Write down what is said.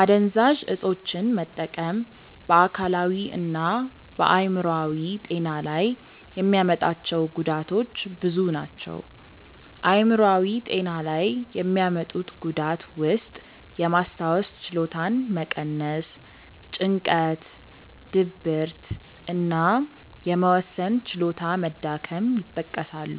አደንዛዥ እፆችን መጠቀም በ አካላዊ እና በ አይምሮአዊ ጤና ላይ የሚያመጣቸው ጉዳቶች ብዙ ናቸው። አይምሯዊ ጤና ላይ የሚያመጡት ጉዳት ውስጥየማስታወስ ችሎታን መቀነስ፣ ጭንቀት፣ ድብርት እና የመወሰን ችሎታ መዳከም ይጠቀሳሉ።